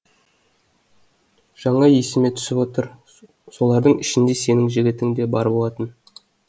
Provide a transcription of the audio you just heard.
жаңа есіме түсіп отыр солардың ішінде сенің жігітің де бар болатын